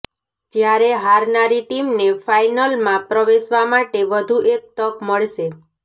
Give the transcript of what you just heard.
જ્યારે હારનારી ટીમને ફાઇનલમાં પ્રવેશવા માટે વધુ એક તક મળશે